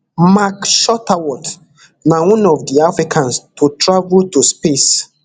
mark shuttleworth na one of di africans to travel to space